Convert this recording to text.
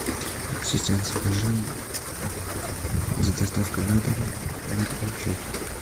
ассистент закажи с доставкой на дом мой любимый чай